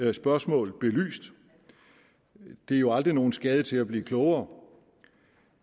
det spørgsmål belyst det er jo aldrig nogen skade til at blive klogere